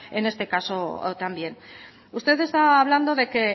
en ese caso también usted está hablando de que